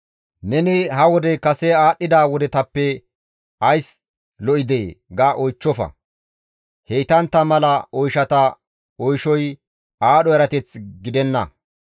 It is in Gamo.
Neni, «Ha wodey kase aadhdhida wodetappe ays lo7idee?» ga oychchofa; heytantta mala oyshata oyshoy aadho erateth gidenna.